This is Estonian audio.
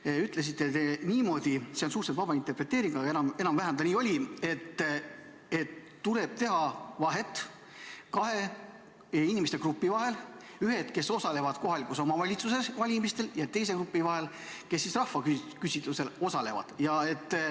Te ütlesite niimoodi – see on suhteliselt vaba interpreteering, aga enam-vähem nii see oli –, et tuleb teha vahet kahe inimeste grupi vahel: ühed, kes osalevad kohaliku omavalitsuse valimistel, ja teised, kes osalevad rahvaküsitlusel.